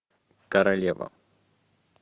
королева